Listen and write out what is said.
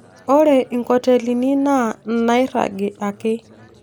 Ore inkotelini naa inaairragi ake